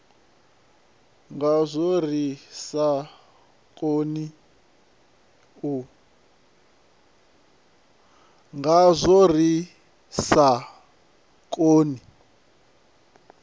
ngazwo ri sa koni u